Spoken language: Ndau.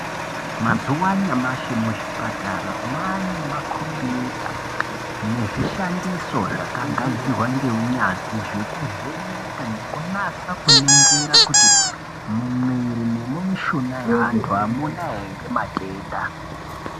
Mazuwa anyamamshi muzvipatara mwane makombiyuta nezvishandiso zvakagadzirwa ngeunyanzvi zvekuvheneka nekunasa kuningira kuti mumwiiri nemumishuna yeantu hamuna here matenda.